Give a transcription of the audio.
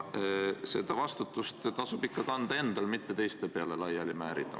Vastutust tasub ikka kanda endal, mitte seda teiste peale laiali määrida.